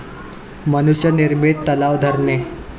मनुष्य निर्मित तलाव, धरणे